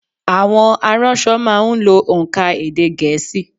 Àwọn aránso má a n lo ònkà èdè gèésì